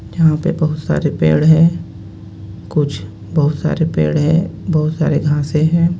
यहाँ पे बोहोत सारे पेड़ हे कुछ बोहोत सारे पेड़ हे बोहोत सारे घासे हे.